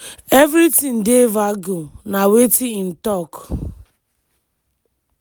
"evritin dey vague" na wetin im talk.